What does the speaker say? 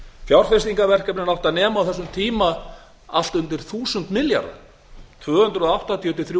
árum fjárfestingarverkefnin áttu að nema á þessum tíma allt undir þúsund milljarða tvö hundruð áttatíu til þrjú